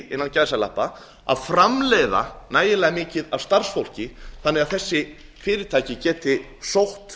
er einfaldlega ekki að framleiða nægilega mikið af starfsfólki þannig að þessi fyrirtæki geti sótt